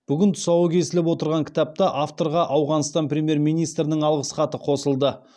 бүгін тұсауы кесіліп отырған кітапта авторға ауғанстан премьер министрінің алғыс хаты қосылды